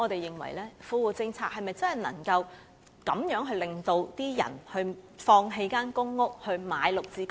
因此富戶政策是否能夠令人放棄公屋，轉而購買"綠置居"呢？